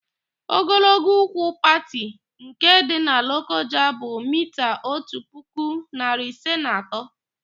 Ogologo úgwú Pati nke dị na Lokoja bụ miita otu puku, narị ise na atọ.